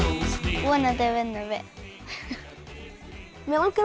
vonandi vinnum við mig langar að